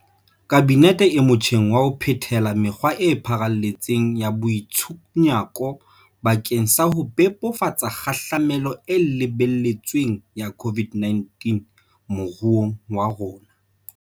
Kabinete e motjheng wa ho phethela mekgwa e pharalletseng ya boitshunyako bakeng sa ho bebofatsa kgahlamelo e lebeletsweng ya COVID-19 moruong wa rona.